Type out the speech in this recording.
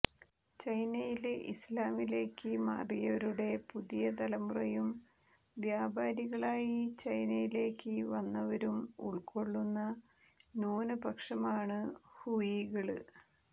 ചൈനയില് ഇസ്ലാമിലേക്ക് മാറിയവരുടെ പുതിയ തലമുറയും വ്യാപാരികളായി ചൈനയിലേക്ക് വന്നവരും ഉള്ക്കൊള്ളുന്ന ന്യൂനപക്ഷമാണ് ഹൂയികള്